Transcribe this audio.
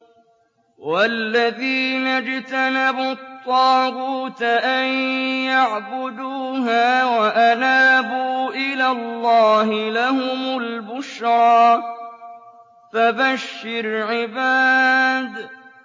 وَالَّذِينَ اجْتَنَبُوا الطَّاغُوتَ أَن يَعْبُدُوهَا وَأَنَابُوا إِلَى اللَّهِ لَهُمُ الْبُشْرَىٰ ۚ فَبَشِّرْ عِبَادِ